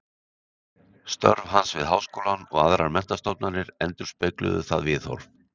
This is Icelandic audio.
Störf hans við Háskólann og aðrar menntastofnanir endurspegluðu það viðhorf.